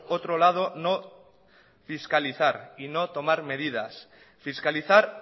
otro lado no fiscalizar y no tomar medidas fiscalizar